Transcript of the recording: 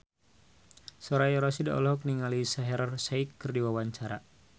Soraya Rasyid olohok ningali Shaheer Sheikh keur diwawancara